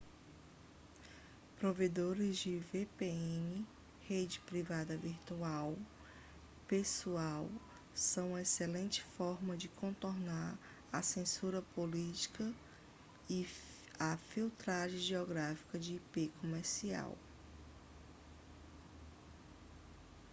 provedores de vpn rede privada virtual pessoal são uma excelente forma de contornar a censura política e a filtragem geográfica de ip comercial